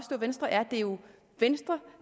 at venstre er det er jo venstre